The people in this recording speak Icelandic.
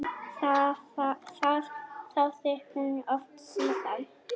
Það þáði hún oft síðar.